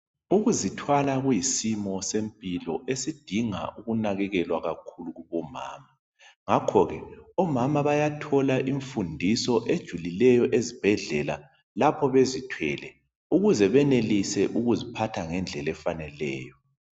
Ukuzithwala kuyisimo sempilo esidinga ukunakekelwa kakhulu kubomama ngakho ke omama bayathola imfundiso ejulileyo ezibhedlela lapho bezithwele ukuze benelise ukuphatha ngendlela efaneleyo.